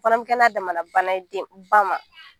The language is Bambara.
Fana bɛ kɛ n'a damana bana ye den, ba ma